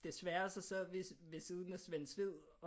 Desværre så sad vi ved siden af Svend Sved